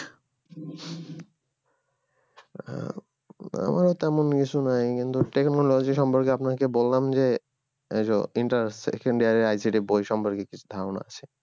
আহ আমার তেমন কিছু নাই কিন্তু technology সম্পর্কে আপনাকে বললাম যে এই যো Second year এর ICT বই সম্পর্কে কি ধারণা আছে